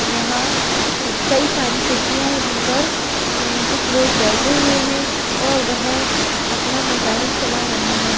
यहां कई सारी कुर्सियां है जिन पर कुछ लोग बैठे हुए है और वह अपना मोबाइल चला रहे हैं।